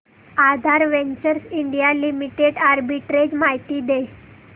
आधार ventures India limited arbitrage माहिती दे